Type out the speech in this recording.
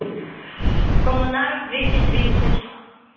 коммунаров двести тридцать